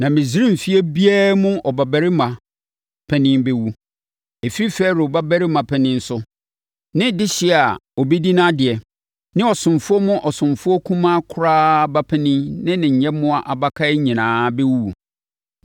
Na Misraim fie biara mu ɔbabarima panin bɛwu. Ɛfiri Farao babarima panin so, ne dehyeɛ a ɔbɛdi nʼadeɛ, ne ɔsomfoɔ mu ɔsomfoɔ kumaa koraa ba panin ne ne nyɛmmoa abakan nyinaa bɛwuwu.